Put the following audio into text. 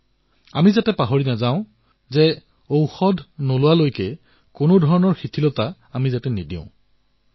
আৰু আমি পাহৰিব নালাগিব যে যেতিয়ালৈ দৰৱ নোলায় তেতিয়ালৈ সাৱধানে থাকিব লাগিব